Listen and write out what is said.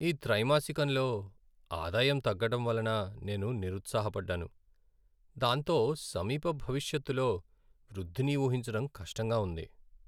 ఈ త్రైమాసికంలో ఆదాయం తగ్గడం వలన నేను నిరుత్సాహపడ్డాను, దాంతో సమీప భవిష్యత్తులో వృద్ధిని ఊహించడం కష్టంగా ఉంది.